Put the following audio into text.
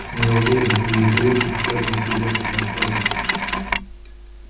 не уверен и мои коллеги захотят внести лепту в наш праздник